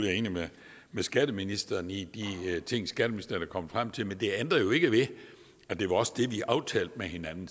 er enig med skatteministeren i de ting skatteministeren er kommet frem til men det ændrer jo ikke ved at det også var det vi aftalte med hinanden